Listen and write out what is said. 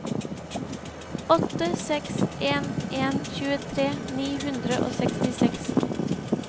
åtte seks en en tjuetre ni hundre og sekstiseks